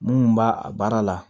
Mun b'a a baara la